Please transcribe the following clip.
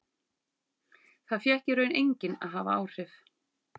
Það fékk í raun enginn að hafa áhrif.